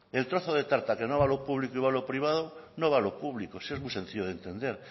el trozo de tarta que no va a lo público y va a lo privado no lo va a lo público si es muy sencillo de entender